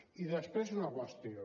i després una qüestió